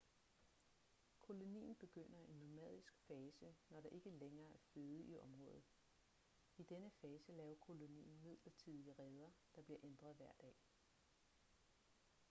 kolonien begynder en nomadisk fase når der ikke lægere er føde i området i denne fase laver kolonien midlertidige reder der bliver ændret hver dag